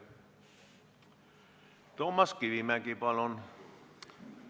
Toomas Kivimägi, palun!